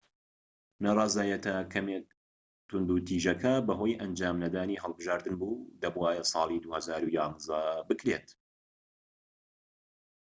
ناڕەزایەتیە کەمێک توندوتیژەکە بەهۆی ئەنجام نەدانی هەڵبژاردن بوو دەبوایە لە ساڵی 2011 بکرێت